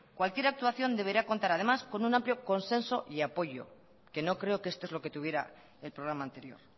cualquier actuación deberá contar además con un amplio consenso y apoyo que no creo que esto es lo que tuviera el programa anterior